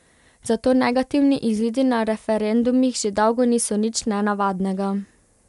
Zato negativni izidi na referendumih že dolgo niso nič nenavadnega.